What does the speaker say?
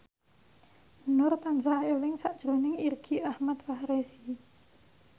Nur tansah eling sakjroning Irgi Ahmad Fahrezi